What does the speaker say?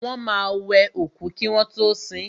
Wọ́n máa wẹ òkú kí wọ́n tọ́ sin.